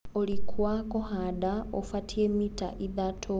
ũriku wa kũhanda ũfatie mita ithatũ.